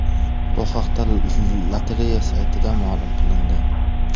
Bu haqda lotereya saytida ma’lum qilindi .